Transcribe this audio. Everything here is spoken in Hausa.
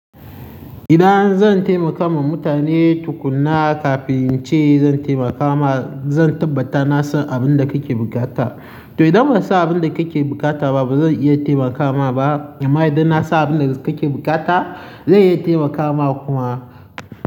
Idan zan taimaka ma mutane tukunna kafin in ce zan taimaka ma, zan tabbata na san abin da kake buƙata. To idan ban san abin da kake buƙata ba, ba zan iya taimaka ma ba. Amma idan na san abin da kake buƙata, zan iya taimaka ma kuma.